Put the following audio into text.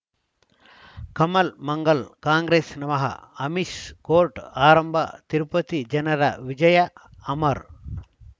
Kamal Mangal Congress ನಮಃ Amish court ಆರಂಭ ತಿರುಪತಿ ಜನರ ವಿಜಯ ಅಮರ್